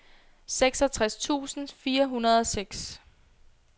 seksogtres tusind fire hundrede og seks